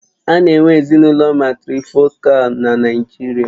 A na-enwe Ezinụlọ màtrịfọ̀kal na Naijiria?